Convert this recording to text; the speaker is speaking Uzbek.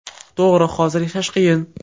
To‘g‘ri, hozir yashash qiyin.